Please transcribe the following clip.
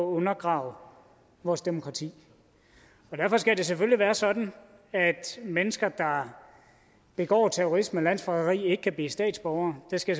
undergrave vores demokrati og derfor skal det selvfølgelig være sådan at mennesker der begår terrorisme og landsforræderi ikke kan blive statsborgere det skal